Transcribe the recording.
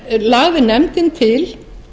þá lagði nefndin til